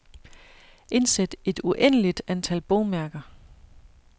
Indsæt et uendeligt antal bogmærker.